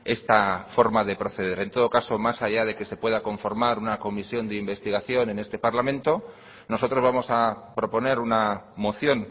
esta forma de proceder en todo caso más allá de que se pueda conformar una comisión de investigación en este parlamento nosotros vamos a proponer una moción